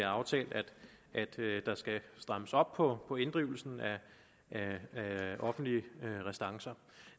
aftalt at der skal strammes op på på inddrivelsen af offentlige restancer